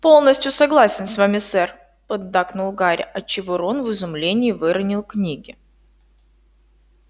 полностью согласен с вами сэр поддакнул гарри отчего рон в изумлении выронил книги